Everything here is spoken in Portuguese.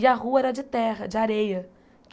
E a rua era de terra, de areia.